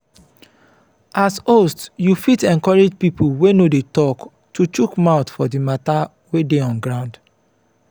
as host you fit encourage pipo wey no dey talk to chook mouth for di matter wey dey on ground